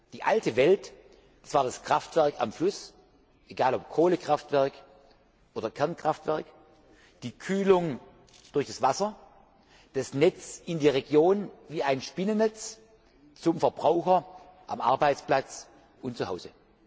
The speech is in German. Die alte Welt, das war das Kraftwerk am Fluss, egal, ob Kohlekraftwerk oder Kernkraftwerk, die Kühlung durch das Wasser, das Netz in die Region wie ein Spinnennetz zum Verbraucher am Arbeitsplatz und zu Hause.